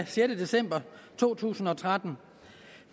sjette december to tusind og tretten